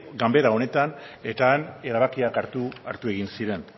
ganbara honetan eta han erabakiak hartu egin ziren